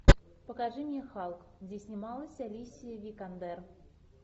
покажи мне халк где снималась алисия викандер